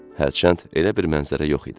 Hərçənd elə bir mənzərə yox idi.